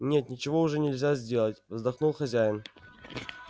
нет ничего уже нельзя сделать вздохнул хозяин